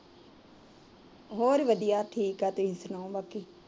ਹੋਰ ਵਧੀਆ ਠੀਕ ਤੁਸੀਂ ਸੁਣਾਓ ਬਾਕੀ